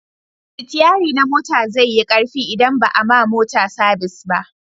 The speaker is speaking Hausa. sitiyari na mota zai yi karfi in ba a ma mota sabis ba